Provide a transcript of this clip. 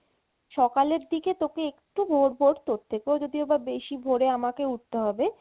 সকালের দিকে তোকে একটু ভোর ভোর উঠতে হবে যদিবা বেশি ভোরে আমাকে উঠতে হবে